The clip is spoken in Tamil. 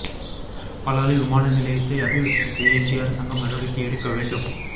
பலாலி விமான நிலையத்தை அபிவிருத்தி செய்ய இந்திய அரசாங்கம் நடவடிக்கை எடுக்க வேண்டும்